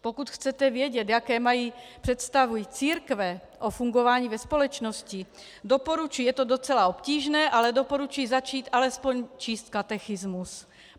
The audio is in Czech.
Pokud chcete vědět, jaké mají představy církve o fungování ve společnosti, doporučuji, je to docela obtížné, ale doporučuji zatím alespoň číst katechismus.